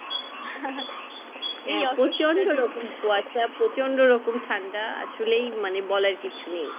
কুয়াশা প্রচন্ড রকম ঠান্ডা আসলেই মানে বলার কিছু নেই